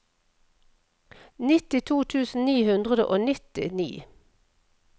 nittito tusen ni hundre og nittini